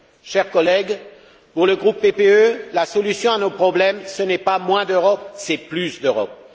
Chers collègues, pour le groupe PPE, la solution à nos problèmes, ce n'est pas moins d'Europe, mais plus d'Europe!